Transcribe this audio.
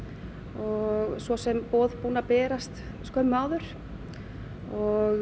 og svo sem boð búin að berast skömmu áður